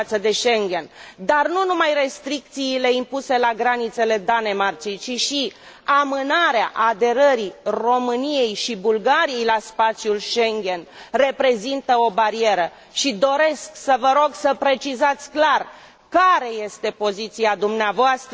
față de Schengen, dar nu numai restricțiile impuse la granițele Danemarcei, ci și amânarea aderării României și Bulgariei la spațiul Schengen reprezintă o barieră, și doresc să vă rog să precizați clar care este poziția dvs.